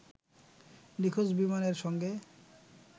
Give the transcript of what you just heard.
নিখোঁজ বিমানের সঙ্গে